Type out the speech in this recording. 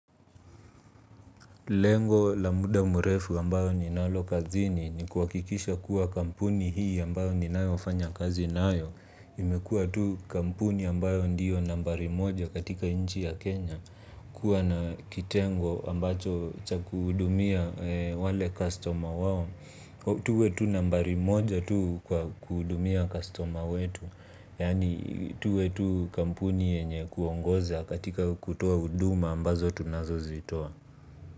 Lengo la muda murefu ambayo ninalo kazini ni kuhakikisha kuwa kampuni hii ambayo ni nayo fanya kazi nayo. Imekua tu kampuni ambayo ndiyo nambari moja katika inchi ya Kenya. Kuwa na kitengo ambacho chaku hudumia wale customer wap. Tuwe tu nambari moja tu kuhudumia customer wetu. Yaani tuwe to kampuni yenye kuongoza katika kutoa huduma ambazo tunazozitoa.